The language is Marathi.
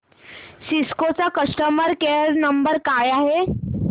सिस्को चा कस्टमर केअर नंबर काय आहे